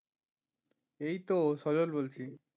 এইতো সজল বলছি।